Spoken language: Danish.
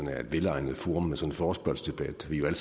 er et velegnet forum med sådan en forespørgselsdebat vi er jo